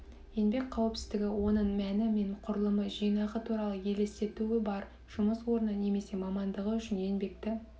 еңбек қауіпсіздігі оның мәні мен құрылымы жинағы туралы елестетуі бар жұмыс орны немесе мамандығы үшін еңбекті